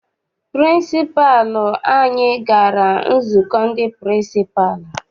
Pịrịnsịpalụ anyị gara nzukọ ndị pịrịnsịpalụ.